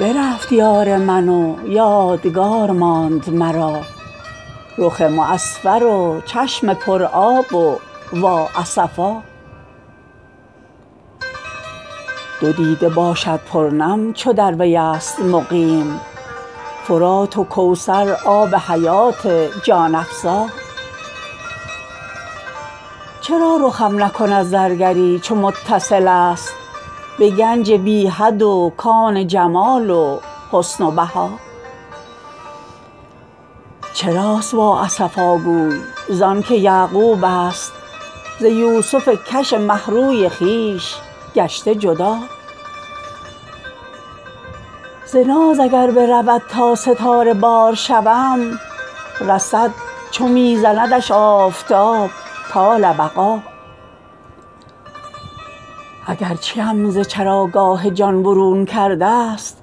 برفت یار من و یادگار ماند مرا رخ معصفر و چشم پرآب و وااسفا دو دیده باشد پرنم چو در ویست مقیم فرات و کوثر آب حیات جان افزا چرا رخم نکند زرگری چو متصلست به گنج بی حد و کان جمال و حسن و بها چراست وااسفاگوی زانک یعقوبست ز یوسف کش مه روی خویش گشته جدا ز ناز اگر برود تا ستاره بار شوم رسد چو می زندش آفتاب طال بقا اگر چیم ز چراگاه جان برون کردست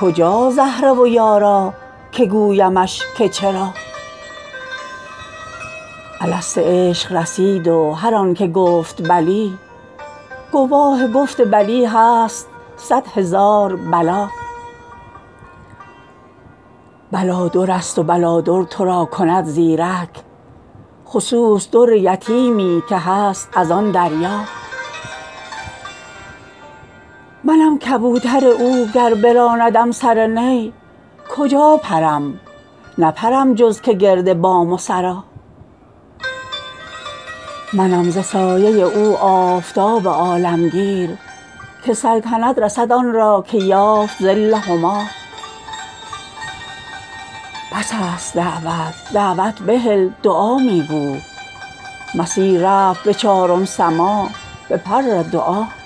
کجاست زهره و یارا که گویمش که چرا الست عشق رسید و هر آن که گفت بلی گواه گفت بلی هست صد هزار بلا بلا درست و بلادر تو را کند زیرک خصوص در یتیمی که هست از آن دریا منم کبوتر او گر براندم سر نی کجا پرم نپرم جز که گرد بام و سرا منم ز سایه او آفتاب عالمگیر که سلطنت رسد آن را که یافت ظل هما بس است دعوت دعوت بهل دعا می گو مسیح رفت به چارم سما به پر دعا